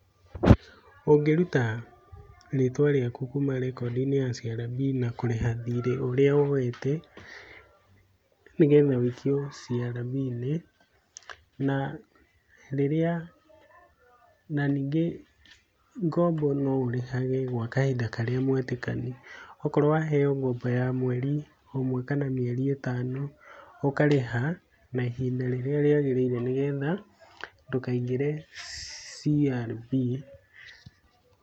Ũngĩruta rĩtwa rĩaku kuma rekodi-inĩ ya CRB na kũrĩha thirĩ ũrĩa woete nĩgetha üikio CRB inĩ, na ningĩ ngombo no ũrĩhage gwa kahinda karĩa mwetĩkanĩirie, okorwo waheo ngombo ya mweri ũmwe kana mĩeri ĩtano ũkarĩha na ihinda rĩrĩa rĩagĩrĩire nĩgetha ndũkaingĩre CRB.